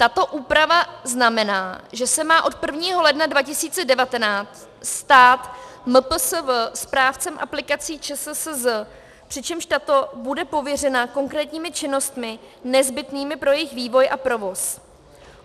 Tato úprava znamená, že se má od 1. ledna 2019 stát MPSV správcem aplikací ČSSZ, přičemž tato bude pověřena konkrétními činnostmi nezbytnými pro jejich vývoj a provoz.